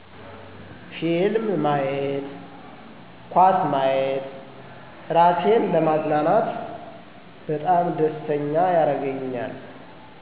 ፊልም ማየት ኳስ ማየት እራሴን ለማዝናናት በጣም ደስተኛ ያረገኛል